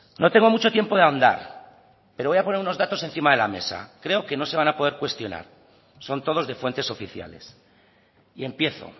no tengo mucho tiempo de ahondar pero voy a poner unos datos encima de la mesa creo que no se van a poder cuestionar son todos de fuentes oficiales y empiezo